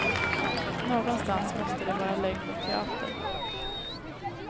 Någonstans måste det vara lögn och teater.